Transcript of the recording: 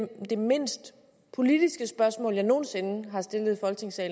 det mindst politiske spørgsmål jeg nogen sinde har stillet